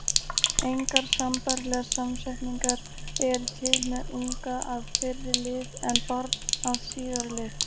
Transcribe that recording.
Engar sambærilegar samsetningar eru til með unga- að fyrri lið en barn að síðari lið.